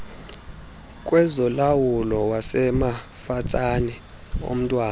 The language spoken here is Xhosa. kwezolawulo wasemafatsane omntwana